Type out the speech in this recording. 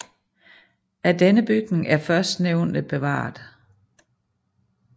Af denne bygning er førstnævnte bevaret